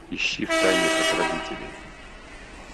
ищи в тайне от родителей